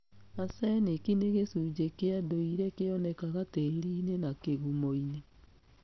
Arsenic nĩ gĩcunjĩ kia ndũire kĩonekaga tĩriinĩ na kĩgumoinĩ.